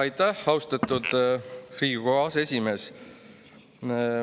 Aitäh, austatud Riigikogu aseesimees!